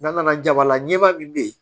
N'an nana jabalaɲɛba min be yen